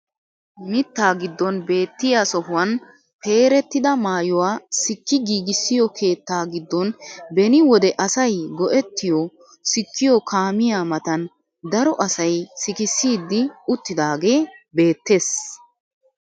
Mittaa giddon beettiyaa sohuwaan pperettida maayuwaa sikki giigissiyoo keettaa giddon beni wode asay go"ettiyoo sikkiyoo kaamiyaa matan daro asay sikissidi uttidagee beettees!